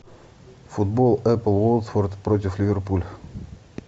футбол апл уотфорд против ливерпуль